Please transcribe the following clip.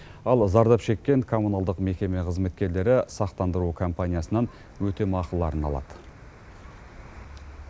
ал зардап шеккен коммуналдық мекеме қызметкерлері сақтандыру компаниясынан өтемақыларын алады